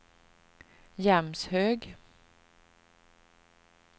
Jämshög